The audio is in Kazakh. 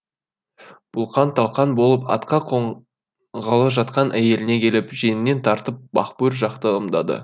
бұлқан талқан болып атқа қонғалы жатқан әйеліне келіп жеңінен тартып бақбөр жақты ымдады